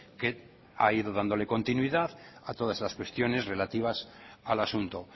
que ha ido dándole continuidad a todas las cuestiones relativas al asunto